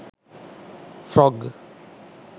frog